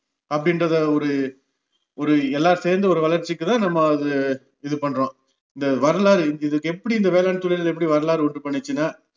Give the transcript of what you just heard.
அப்படின்றத ஒரு ஒரு எல்லாம் சேர்ந்த ஒரு வளர்ச்சிக்குதான் நம்ம அது இது பண்றோம் இந்த வரலாறு இது இதுக்கு எப்படி இந்த வேளாண்தொழில் எப்படி வரலாறு உண்டு பண்ணுச்சுன்னா